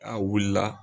A wulila